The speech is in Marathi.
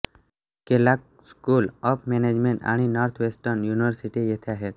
केलॉग स्कूल ऑफ मॅनेजमेंट आणि नॉर्थवेस्टर्न युनिव्हर्सिटी येथे आहेत